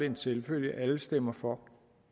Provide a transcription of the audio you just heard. en selvfølge at alle stemmer for